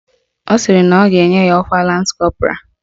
Ọ sịrị na ọ ga-enye ya ọkwa Lans Kọpụral